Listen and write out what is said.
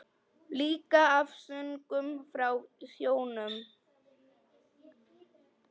Líka af söngnum frá sjónum.